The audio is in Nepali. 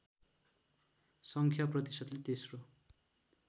सङ्ख्या प्रतिशतले तेस्रो